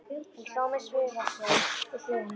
Ég hló með, svifasein við hlið hennar.